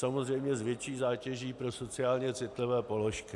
Samozřejmě s větší zátěží pro sociálně citlivé položky.